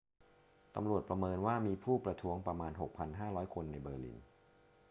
ตำรวจประเมินว่ามีผู้ประท้วงประมาณ 6,500 คนในเบอร์ลิน